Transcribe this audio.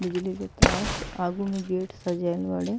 बिजली के तार आगू में गेट सजैल बाड़े।